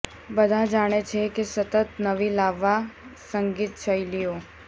બધા જાણે છે કે સતત નવી લાવવા સંગીત શૈલીઓ